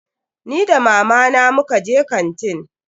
Ni da mamana muka je kantin.